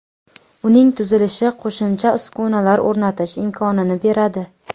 Uning tuzilishi qo‘shimcha uskunalar o‘rnatish imkonini beradi.